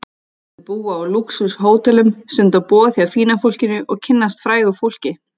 Þau búa á lúxus-hótelum, stunda boð hjá fína fólkinu og kynnast frægu fólki.